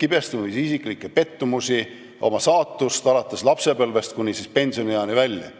kibestumisi, isiklikke pettumusi, oma saatust alates lapsepõlvest kuni pensionieani välja.